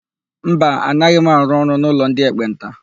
Mba, anaghị m arụ ọrụ n'ụlọ ndị ekpenta.